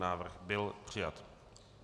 Návrh byl přijat.